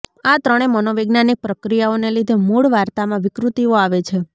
આ ત્રણે મનોવૈજ્ઞાનિક પ્રક્રિયાઓને લીધે મૂળ વાર્તામાં વિકૃતિઓ આવે છે